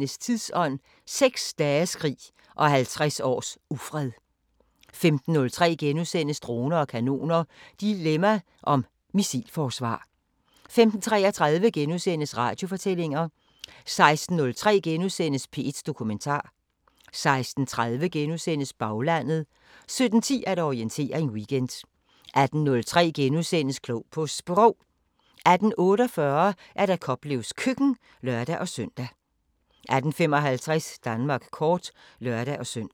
14:03: Tidsånd: 6 dages krig og 50 års ufred * 15:03: Droner og kanoner: Dilemma om missilforsvar * 15:33: Radiofortællinger * 16:03: P1 Dokumentar * 16:30: Baglandet * 17:10: Orientering Weekend 18:03: Klog på Sprog * 18:48: Koplevs Køkken (lør-søn) 18:55: Danmark kort (lør-søn)